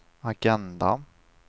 agenda